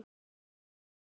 Lilla gapti.